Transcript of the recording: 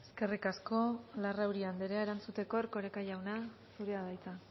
eskerrik asko larrauri anderea erantzuteko erkoreka jauna zurea da hitza